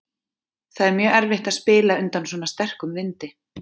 Það er mjög erfitt að spila undan svona sterkum vindi.